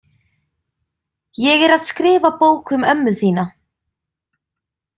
Ég er að skrifa bók um ömmu þína.